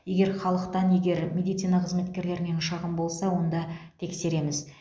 егер халықтан және медицина қызметкерлерінен шағым болса онда тексереміз